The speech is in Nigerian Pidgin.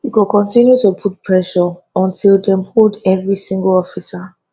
we go continue to put pressure until dem hold every single officer